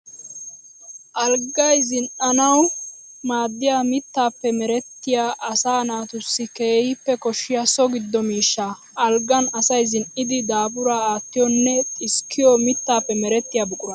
Alggay zini'annawu maadiya mittappe merettiya asaa naatussi keehippe koshiya so giddo miishsha. Alggan asay zini'iddi daafura aatiyonne xisskiyo mittappe merettiya buqura.